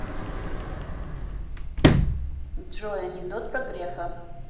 джой анекдот про грефа